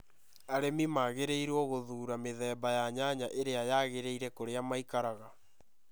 Arĩmi magĩrĩirũo gũthuura mĩthemba ya nyanya ĩrĩa yagĩrĩire kũrĩa maikaraga.